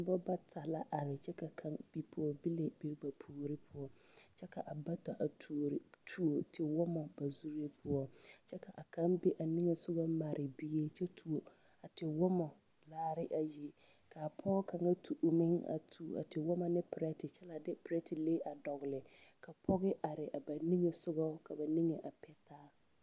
Noba bata la are kyɛ ka kaŋa pɔgebile be ba puori poɔ kyɛ ka a bata tuori tuo tewɔmɔ ba zuree poɔ ka kaŋa nige sɔgɔ mare bie kyɛ tuo a tewɔmɔ laare ayi ka pɔge kaŋa tu o meŋ a tuo wɔmɔ ne pirɛte kyɛ la dw pirɛtelee a dɔgle ka pɔge are ba nige sɔgɔ ka ba nige a pɛtaa.